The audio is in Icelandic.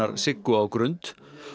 Siggu á Grund